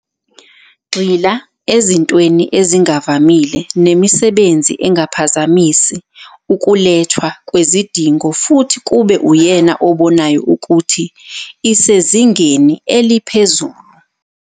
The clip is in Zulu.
Gxila ezintweni ezingavamile nemisebenzi engaphazamisi ukulethwa kwezidingo futhi kube uyena obonayo ukuthi isezingeni eliphezulu.